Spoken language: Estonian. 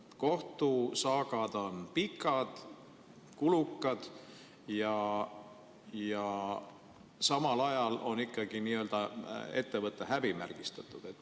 Kohtusaagad on pikad ja kulukad ning samal ajal on ettevõte ikkagi n-ö häbimärgistatud.